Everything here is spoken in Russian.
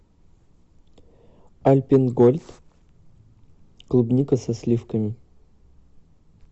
альпенгольд клубника со сливками